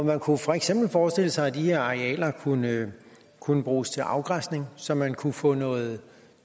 man kunne for eksempel forestille sig at de her arealer kunne kunne bruges til afgræsning så man kunne få noget